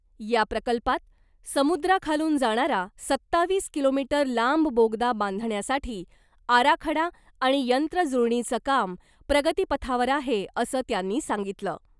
या प्रकल्पात , समुद्राखालून जाणारा सत्तावीस किलोमीटर लांब बोगदा बांधण्यासाठी आराखडा आणि यंत्रजुळणीचं काम प्रगतीपथावर आहे , असं त्यांनी सांगितलं .